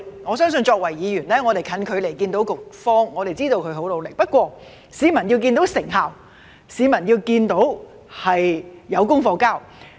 我相信作為議員，我們近距離看到局方，知道他們很努力，不過市民要看到成效及政府交出功課。